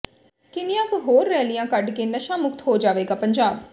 ਕਿੰਨੀਆਂ ਕੁ ਹੋਰ ਰੈਲੀਆਂ ਕੱਢ ਕੇ ਨਸ਼ਾ ਮੁਕਤ ਹੋ ਜਾਵੇਗਾ ਪੰਜਾਬ